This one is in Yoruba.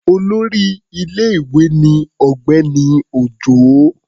Olórí ilé-ìwé ni Ọ̀gbẹ́ni Òjó.